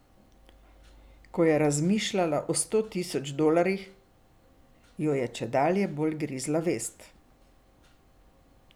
Ko je razmišljala o sto tisoč dolarjih, jo je čedalje bolj grizla vest.